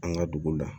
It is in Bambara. An ka duguw la